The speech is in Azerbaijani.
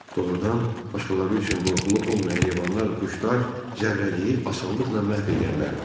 Doğrudan başqaları üçün qorxulu olmayan heyvanlar, quşlar Zərrəciyi asanlıqla məhv eləyə bilərdi.